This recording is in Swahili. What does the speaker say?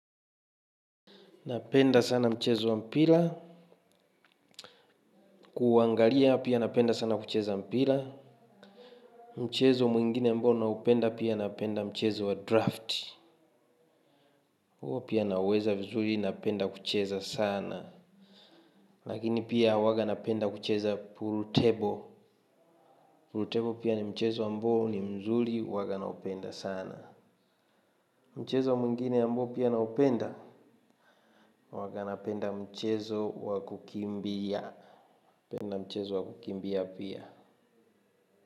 Napenda sana mchezo wa mpira. Kuangalia pia napenda sana kucheza mpira. Mchezo mwingine ambao naupenda pia napenda mchezo wa drafti. Huo pia naweza vizuri napenda kucheza sana. Lakini pia huwaga napenda kucheza pool table. Pool table pia ni mchezo ambao ni mzuri huwaga naupenda sana. Mchezo mwingine ambao pia naupenda. Huwaga napenda mchezo wa kukimbia. Napenda mchezo wa kukimbia pia.